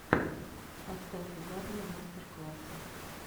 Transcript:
поставь угарные мастер классы